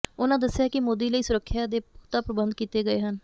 ਉਨ੍ਹਾਂ ਦੱਸਿਆ ਕਿ ਮੋਦੀ ਲਈ ਸੁਰੱਖਿਆ ਦੇ ਪੁਖਤਾ ਪ੍ਰਬੰਧ ਕੀਤੇ ਗਏ ਹਨ